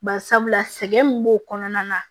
Bari sabula sɛgɛn min b'o kɔnɔna na